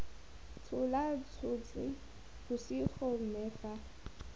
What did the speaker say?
tshola totšhe bosigo mme fa